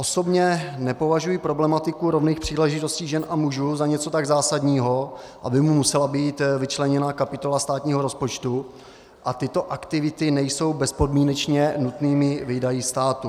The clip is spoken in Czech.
Osobně nepovažuji problematiku rovných příležitostí žen a mužů za něco tak zásadního, aby mu musela být vyčleněna kapitola státního rozpočtu, a tyto aktivity nejsou bezpodmínečně nutnými výdaji státu.